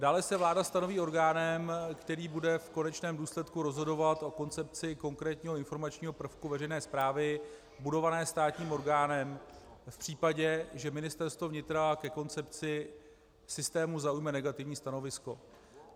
Dále se vláda stanoví orgánem, který bude v konečném důsledku rozhodovat o koncepci konkrétního informačního prvku veřejné správy budované státním orgánem v případě, že Ministerstvo vnitra ke koncepci systému zaujme negativní stanovisko.